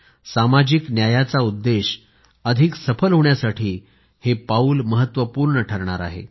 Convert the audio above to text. सामाजिक न्यायाचा उद्देश अधिक सफल होण्यासाठी हे पाऊल महत्वपूर्ण ठरणार आहे